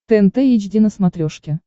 тнт эйч ди на смотрешке